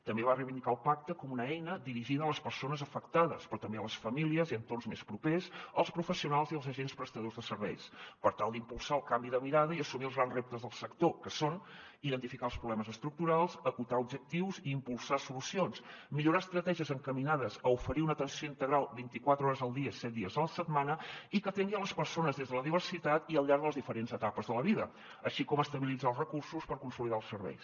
també va reivindicar el pacte com una eina dirigida a les persones afectades però també a les famílies i entorns més propers els professionals i els agents prestadors de serveis per tal d’impulsar el canvi de mirada i assumir els grans reptes del sector que són identificar els problemes estructurals acotar objectius i impulsar solucions millorar estratègies encaminades a oferir una atenció integral vint i quatre hores al dia set dies a la setmana i que atengui les persones des de la diversitat i al llarg de les diferents etapes de la vida així com estabilitzar els recursos per consolidar els serveis